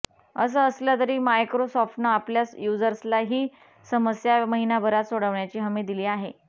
असं असलं तरी मायक्रोसॉफ्टनं आपल्या युजर्सला ही समस्या महिनाभरात सोडवण्याची हमी दिली आहे